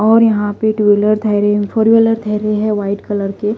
और यहां पे टूव्हीलर थैरे फोरव्हीलर थैरे है वाइट कलर के।